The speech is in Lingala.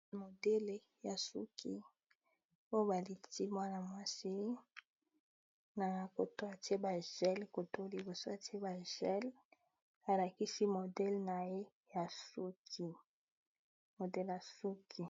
Modele ya suki oyo baliti mwana-mwasi na koto atie ba gel koto liboso atie ba gel alakisi modele na ye ya suki modèle ya suki.